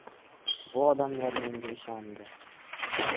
Bu odamlar menga ishondi.